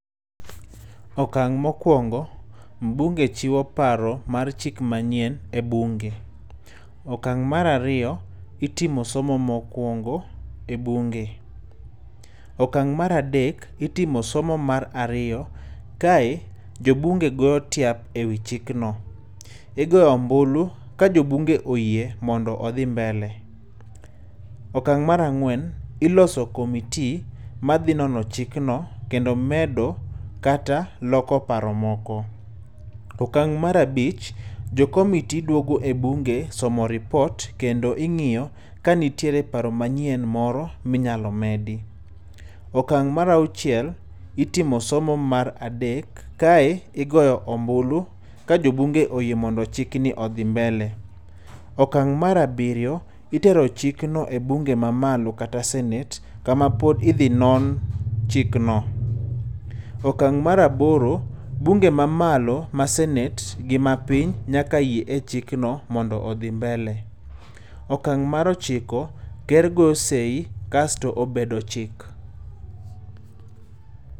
Okang' mokwongo, mbunge chiwo paro mar chik manyien e bunge. Okang' mar ariyo, itimo somo mokwongo e bunge. Okang, mar adek, itimo somo mar ariyo, kae jo[csbunge go tiap ewi chik no. Igoyo ombulu, ka jo bunge oyie mondo odhi mbele. Okang' mar ang'wen, iloso comittee ma dhi nono chikno, kendo medo kata loko paro moko. Okang' mar abich, jo comittee duogo e bunge somo report kendo ingíyo ka nitie paro moro minyalo medi. Okang' mar auchiel, itimo somo mar adek, kae igoyo ombulu ka jo bunge oyie mondo chikni odhi mbele. Okang' mar abiriyo, itero chikno e bunge ma malo, kata senate kama pod idhi non chikno. Okang' mar aboro, bunge ma malo ma senate, gi ma piny nyaka yie e chikno, mondo odhi mbele. Okang' mar ochiko, ker goyo sei kasto obedo chik.